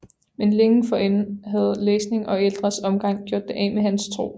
Men længe forinden havde læsning og ældres omgang gjort det af med hans tro